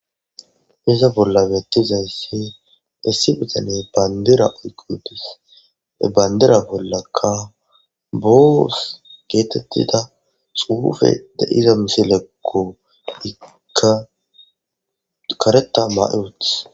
iza bolla bettizayssi issi bitane bayndira oyqquudis bayndira bollakka boos geetettida suufe de iza misilekko ika kareta maa7i otis